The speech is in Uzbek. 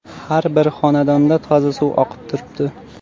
Har bir xonadonda toza suv oqib turibdi.